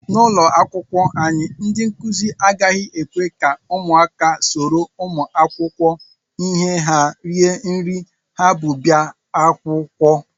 N'ụlọakwụkwọ anyị, ndị nkụzi agaghị ekwe ka ụmụaka soro ụmụakwụkwọ ihe ha rie nri ha bu bịa akwụkwọ